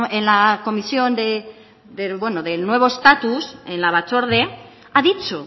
en la comisión del nuevo estatus en la batzorde ha dicho